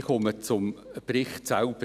Ich komme zum Bericht selbst.